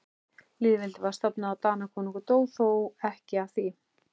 Lýðveldið var stofnað og Danakonungur dó, þó ekki af því.